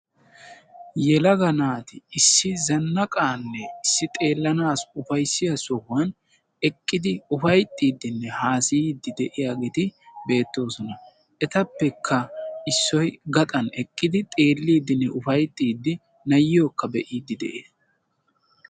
Yelaga naati issi zannaqaanne issi xeellanaassi ufayissiya sohan eqqidi ufayittiidine haasayiiddi de'iyaageeti beettoosona etappekka issoy gaxaara wqqidi xeelliidinee upayttiiddi na'iyokka be'iiddi dess.